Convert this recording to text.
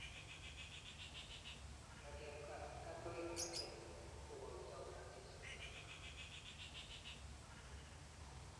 Ng'alek ap katewernatet kokotoi kora eng South Afrka